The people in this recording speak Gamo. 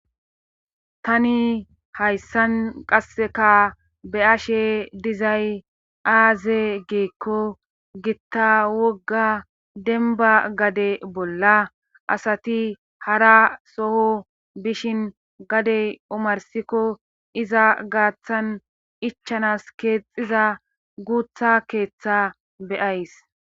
Tani hayssan qasseka be ashe dizay aaze geekko gitta wogga denba gade bolla asati hara soho bishin gadey umarsikko iza gaaththan ichanas keexxiza guutha keeththa beyays.